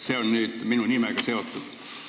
See oli see, mis oli minu nimega seotud.